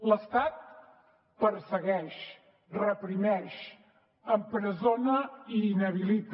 l’estat persegueix reprimeix empresona i inhabilita